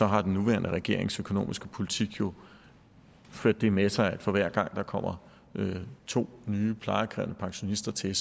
har den nuværende regerings økonomiske politik jo ført det med sig at for hver gang der kommer to nye plejekrævende pensionister til